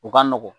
U ka nɔgɔn